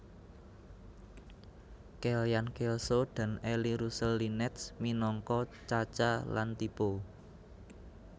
Kellyann Kelso dan Eli Russell Linnetz minangka Chaca lan Tipo